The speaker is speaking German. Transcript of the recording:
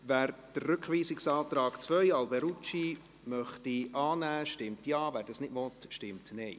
Wer den Rückweisungsantrag 2 von Grossrat Alberucci annehmen möchte, stimmt Ja, wer dies nicht will, stimmt Nein.